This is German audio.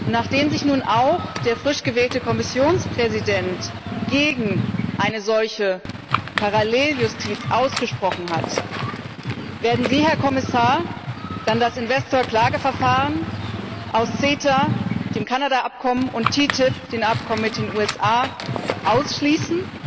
Nachdem sich nun auch der frisch gewählte Kommissionspräsident gegen eine solche Paralleljustiz ausgesprochen hat, werden Sie, Herr Kommissar, dann das Investorklageverfahren aus CETA, dem Kanada Abkommen, und TTIP, dem Abkommen mit den USA, ausschließen?